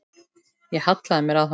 Ég hallaði mér að honum.